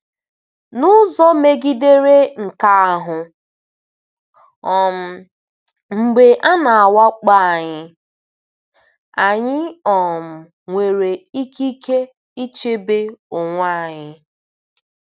N’ụzọ megidere nke ahụ, um mgbe a na-awakpo anyị, anyị um nwere ikike ichebe onwe anyị.